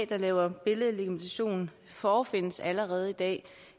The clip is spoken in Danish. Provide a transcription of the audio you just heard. der laver billedlegitimation forefindes allerede i dag